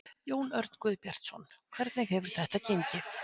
Jón Örn Guðbjartsson: Hvernig hefur þetta gengið?